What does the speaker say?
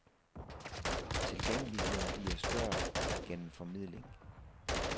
Tilgængeligheden bliver større gennem formidling.